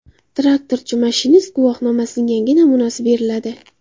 Traktorchi-mashinist guvohnomasining yangi namunasi beriladi.